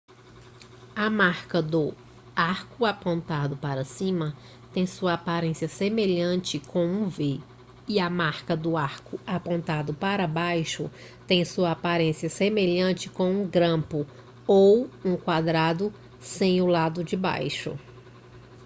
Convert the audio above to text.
a marca do arco apontando para cima tem sua aparência semelhante com um v e a marca do arco apontando para baixo tem sua aparência semelhante com um grampo ou um quadrado sem o lado de baixo